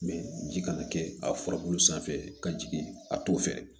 ji kana kɛ a furabulu sanfɛ ka jigin a t'o fɛ